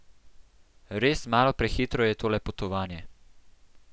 Res malo prehitro je tole potovanje.